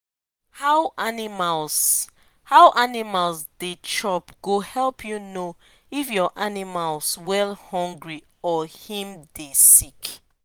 how animals how animals they chop go help u know if ur animals wellhungry or him the sick